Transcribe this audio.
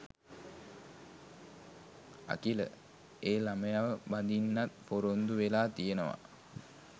අකිල ඒ ළමයාව බඳින්නත් ‍පොරොන්දු වෙලා තියෙනවා